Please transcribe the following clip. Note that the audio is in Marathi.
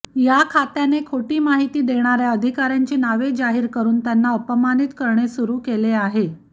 या खात्याने खोटी माहिती देणाऱ्या अधिकाऱ्यांची नावे जाहीर करून त्यांना अपमानित करणे सुरू केले आहे